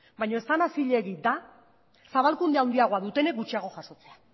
baina ez dena zilegi da zabalkunde handiagoa dutenek gutxiago jasotzea